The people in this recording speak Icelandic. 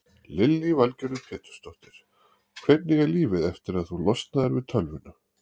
Lillý Valgerður Pétursdóttir: Hvernig er lífið eftir að þú losnaðir við tölvuna?